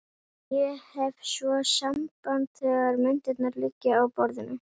Ég hef svo samband þegar myndirnar liggja á borðinu.